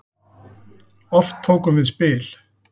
Oft tókum við spil.